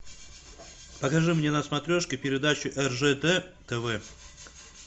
покажи мне на смотрешке передачу ржд тв